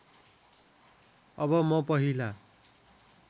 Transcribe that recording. अब म पहिला